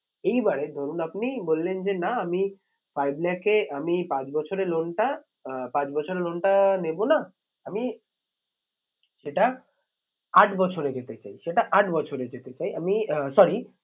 এইবারে ধরুন আপনি বললেন যে আমি five lakh এ আমি পাঁচ বছরে loan টা আহ পাঁচ বছরে loan টা নেবো না আমি সেটা আট বছরে যেতে চাই সেটা আট বছরে যেতে চাই আমি আহ sorry